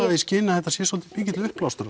það í skyn að þetta sé svolítið mikill uppblástur